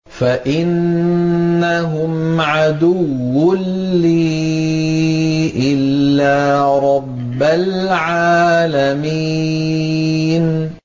فَإِنَّهُمْ عَدُوٌّ لِّي إِلَّا رَبَّ الْعَالَمِينَ